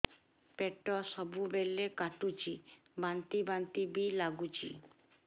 ପେଟ ସବୁବେଳେ କାଟୁଚି ବାନ୍ତି ବାନ୍ତି ବି ଲାଗୁଛି